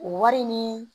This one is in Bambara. O wari ni